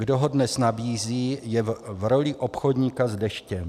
Kdo ho dnes nabízí, je v roli obchodníka s deštěm.